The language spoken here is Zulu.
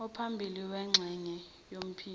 ophambili wengxenye yophiko